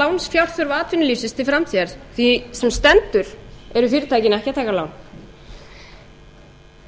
lánsfjárþörf atvinnulífsins til framtíðar því sem stendur eru fyrirtækin ekki að taka lán